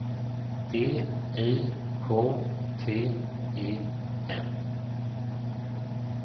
D I K T E N